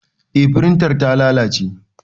Eh firintar ta lalace